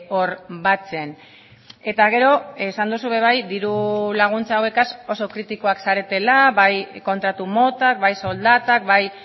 hor batzen eta gero esan duzu be bai diru laguntza hauegaz oso kritikoak zaretela bai kontratu motak bai soldatak bai